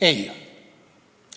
Ei!